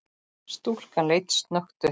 Stúlkan leit snöggt upp.